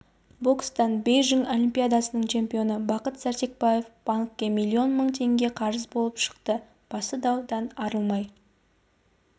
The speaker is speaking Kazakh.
бокстан бейжің олимпиадасының чемпионы бақыт сәрсәкбаев банкке миллион мың теңге қарыз болып шықты басы даудан арылмай